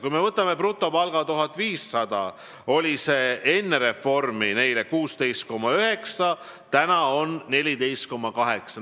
Kui me võtame brutopalga 1500 eurot, siis enne reformi pidid nad maksma 16,9%, nüüd 14,8%.